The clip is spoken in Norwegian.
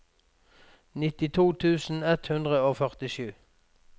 nittito tusen ett hundre og førtisju